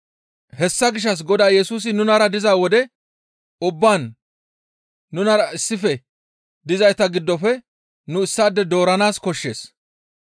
«Hessa gishshas Godaa Yesusi nunara diza wode ubbaan nunara issife dizayta giddofe nu issaade dooranaas koshshees.